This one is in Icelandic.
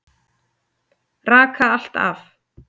Raka allt af.